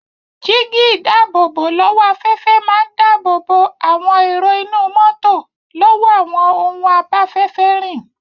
Jígí-ìdáàbòbò-lọ́wọ́-afẹ́fẹ́ máa ń dáàbòbò àwọn èrò inú mọ́tò lọ́wọ́ àwọn ohun abáfẹ́fẹ́ rìn.